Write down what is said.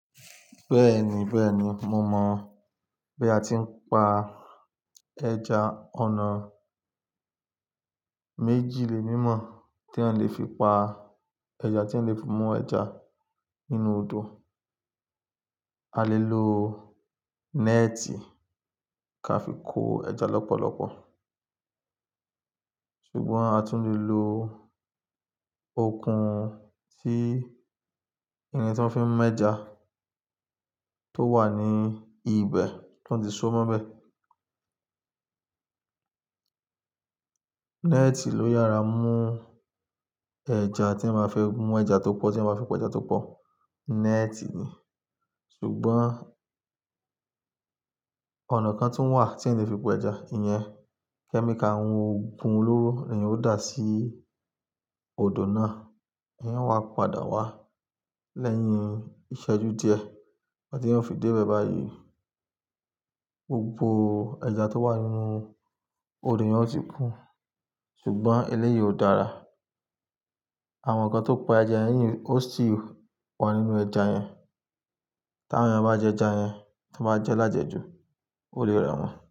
Bẹ́ẹ̀ni, bẹ́ẹ̀ni, mo mọ̀. Bí a ti ń pa ẹja, ọ̀nà méjì lè mí mọ̀ tí a lè fi pa ẹja, tí a lè fi mú ẹja nínú odò. A lè lo net ka fi kó ẹja lọ́pọ̀lọ́pọ̀. Ṣùgbọ́n a tún lè lo okùn tí ẹni tí wọ́n fi mú ẹja tó wà ní ibẹ̀ to fi so mọ́bẹ̀. Net ló yára mú ẹja tí ẹ máa fẹ́ mú ẹja tó pọ̀, tí ẹ máa fẹ́ po ẹja tó pọ̀, net ni. Ṣùgbọ́n ọ̀nà kan tí ń wà tí ẹ lè fi po ẹja, ìyẹn kẹ́míkà ohun ọ̀gun olówó ni yóò dà sí odò náà, yíyẹn wá padà wá lẹ́yìn ìṣẹ́jú díẹ̀ tí yóò fi dé ibẹ̀ báyìí, gbogbo ẹja tó wà nínú odò yẹn ó ti kú. Ṣùgbọ́n eléyìí ò dára. Àwọn kan tó pa ẹja yí ó sì wa nínú ẹja yẹn. Tí àwọn èèyàn bá jẹ ẹja yẹn, tí wọ́n bá jẹ́ lájẹ jú, ó lè rẹ̀ wọ́n.